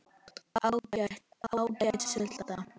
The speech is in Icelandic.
Ágæt sulta.